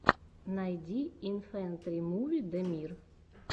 найди инфэнтримуви дэмир